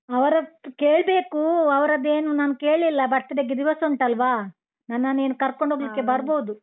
ಅವರತ್ರ ಕೇಳ್ಬೇಕು ಅವರದ್ದೇನು ನಾನು ಕೇಳಿಲ್ಲ birthday ಗೆ ದಿವಸ ಉಂಟಲ್ವಾ, ನನ್ನನ್ನು ಇನ್ನು ಕರ್ಕೊಂಡು ಹೋಗ್ಲಿಕ್ಕೆ ಬರ್ಬೋದು.